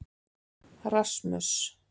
Rasmus